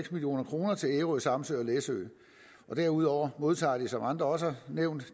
million kroner til ærø samsø og læsø og derudover modtager de som andre også har nævnt